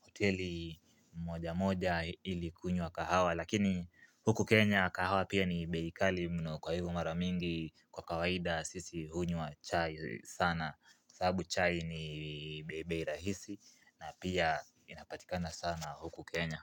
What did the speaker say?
hoteli moja moja ili kunywa kahawa lakini huku Kenya kahawa pia ni bei kali mno kwa hivyo mara mingi kwa kawaida sisi hunywa chai sana. Sabu chai ni be bei rahisi na pia inapatikana sana huku Kenya.